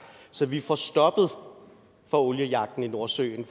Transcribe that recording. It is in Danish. så vi får stoppet for oliejagten i nordsøen